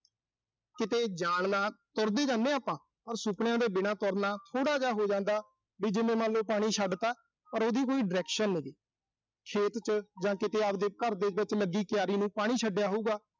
ਕਿਤੇ ਜਾਣ ਨਾਲ, ਤੁਰਦੇ ਹੀ ਰਹਿਨੇ ਆਂ ਆਪਾਂ। ਔਰ ਸੁਪਨਿਆਂ ਦੇ ਬਿਨਾਂ ਤੁਰਨਾ, ਥੋੜ੍ਹਾ ਜਾ ਹੋ ਜਾਂਦਾ, ਵੀ ਮੰਨਲੋ ਪਾਣੀ ਛੱਡ ਤਾ, ਪਰ ਉਹਦੀ ਕੋਈ direction ਨੀਂ ਗੀ। ਖੇਤ ਚ ਜਾਂ ਕਿਤੇ ਆਪਣੇ ਘਰ ਦੇ ਵਿੱਚ ਲੱਗੀ ਕਿਆਰੀ ਨੂੰ ਪਾਣੀ ਛੱਡਿਆ ਹੋਊਗਾ।